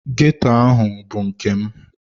Ghetto ahụ bụ nke m.